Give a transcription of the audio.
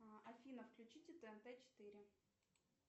афина включите тнт четыре